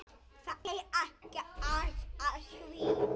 Það er ekkert að því.